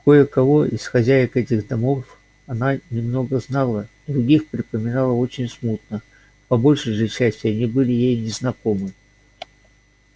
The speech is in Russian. кое-кого из хозяек этих домов она немного знала других припоминала очень смутно по большей же части они были ей незнакомы